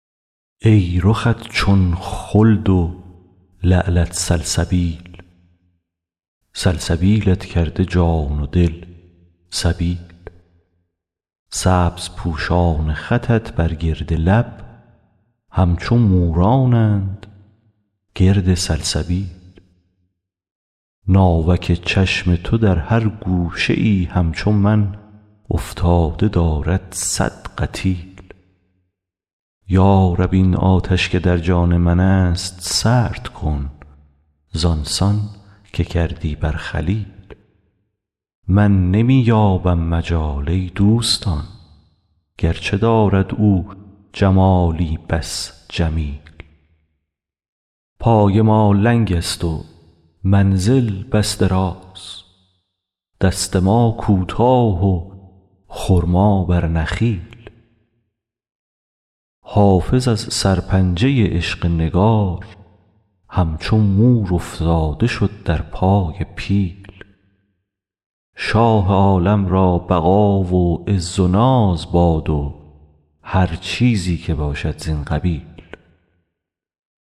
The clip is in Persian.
ای رخت چون خلد و لعلت سلسبیل سلسبیلت کرده جان و دل سبیل سبزپوشان خطت بر گرد لب همچو مورانند گرد سلسبیل ناوک چشم تو در هر گوشه ای همچو من افتاده دارد صد قتیل یا رب این آتش که در جان من است سرد کن زان سان که کردی بر خلیل من نمی یابم مجال ای دوستان گرچه دارد او جمالی بس جمیل پای ما لنگ است و منزل بس دراز دست ما کوتاه و خرما بر نخیل حافظ از سرپنجه عشق نگار همچو مور افتاده شد در پای پیل شاه عالم را بقا و عز و ناز باد و هر چیزی که باشد زین قبیل